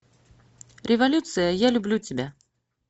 революция я люблю тебя